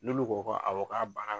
N'olu ko awɔ k'a banna.